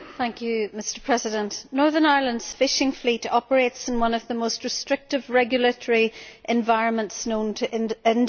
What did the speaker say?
Mr President, Northern Ireland's fishing fleet operates in one of the most restrictive regulatory environments known to industry.